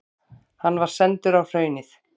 Hann var sendur á Hraunið.